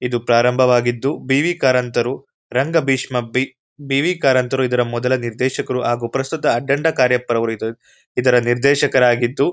ಇದು ಪ್ರಾರಂಭವಾಗಿದ್ದು ಬಿ.ವಿ ಕಾರಂತರು ರಂಗಭೀಷ್ಮಪಿ ಬಿ.ವಿ ಕಾರಂತರು ಇದರ ಮೊದಲ ದೇಶಕರು ಹಾಗೂ ಪ್ರಸ್ತುತ ಅಖಂಡ ಕಾರ್ಯ ಪ್ರಭೇದರು ಇದರ ನಿರ್ದೇಶಕರಾಗಿದ್ದು--